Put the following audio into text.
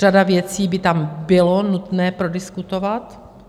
Řadu věcí by tam bylo nutné prodiskutovat.